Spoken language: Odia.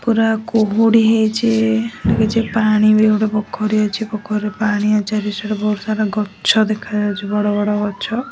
ପୂରା କୁହୁଡ଼ି ହେଇଛି କିଛି ପାଣି ପାଇଁ ପୋଖରୀ ଅଛି ପୋଖରୀ ରୁ ପାଣି ଅଛି ବହୁତ ସାରା ଗଛ ଦେଖାଯାଉଚି ବଡ ବଡ ଗଛ।